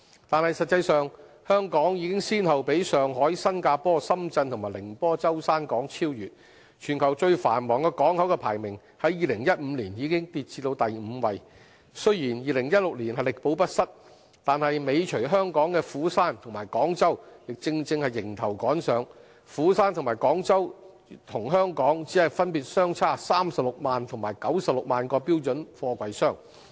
但實際上，香港已先後被上海、新加坡、深圳及寧波舟山港超越，全球最繁忙港口的排名在2015年已跌至第五位；雖然在2016年力保不失，但尾隨香港的釜山和廣州正迎頭趕上，釜山和廣州與香港只分別相差36萬及96萬個標準貨櫃箱。